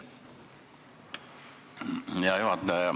Hea juhataja!